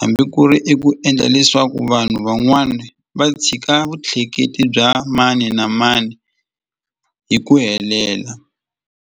hambi ku ri i ku endla leswaku vanhu van'wani va tshika vutleketli bya mani na mani hi ku helela.